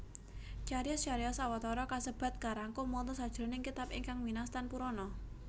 Cariyos cariyos Awatara kasebat karangkum wonten sajroning kitab ingkang winastan Purana